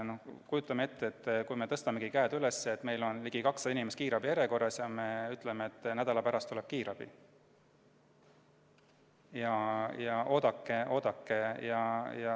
Kujutame ette, kui me tõstaksime käed üles, kui meil on ligi 200 inimest kiirabi järjekorras, ning ütleksime, et kiirabi tuleb nädala pärast ja seni oodake.